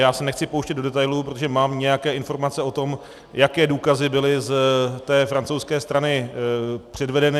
Já se nechci pouštět do detailů, protože mám nějaké informace o tom, jaké důkazy byly z té francouzské strany předvedeny.